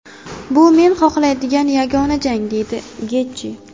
Bu men xohlaydigan yagona jang”, deydi Getji.